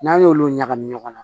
N'a y'olu ɲagami ɲɔgɔn na